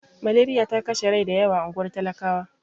Maleriya ta kashe rai da yawa a unguwar talakawa.